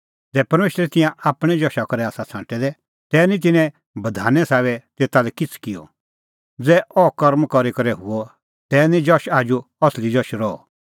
ज़ै परमेशरै तिंयां आपणैं जशा करै आसा छ़ांटै दै तै निं तिन्नैं बधाने साबै तेता लै किछ़ै किअ ज़ै अह कर्म करी करै हुअ तै निं जश आजू असली जश रहअ